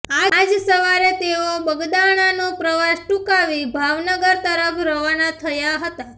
આજ સવારે તેઓ બગદાણાનો પ્રવાસ ટુંકાવી ભાવનગર તરફ રવાના થયા હતા